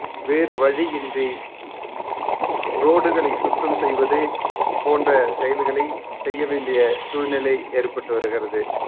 வேறு வழியின்றி road களை சுத்தம் செய்வதே போன்ற செயல்களை செய்ய வேண்டிய சூழ்நிலை ஏற்பட்டு வருகிறது